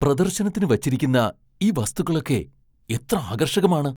പ്രദർശനത്തിനു വച്ചിരിക്കുന്ന ഈ വസ്തുക്കളൊക്കെ എത്ര ആകർഷകമാണ്!